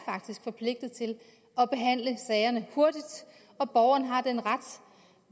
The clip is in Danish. forpligtet til at behandle sagerne hurtigt og borgeren har den ret at